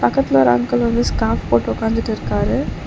பக்கத்துல ஒரு அங்கிள் வந்து ஸ்காப் போட்டு ஒக்காந்துட்ருக்காரு.